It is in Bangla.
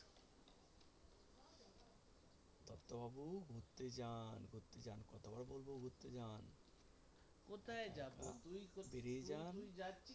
ঘুরতে যান ঘুরতে যান কতবার বলবো ঘুরতে যান